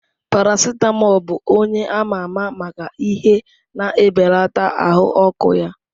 Paracetamol bụ onye ama ama maka ihe na-ebelata ahụ ọkụ ya.